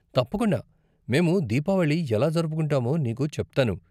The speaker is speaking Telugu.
తప్పకుండా, మేము దీపావళి ఎలా జరుపుకుంటామో నీకు చెప్తాను.